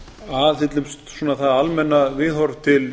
aðhyllumst svona það almenna viðhorf til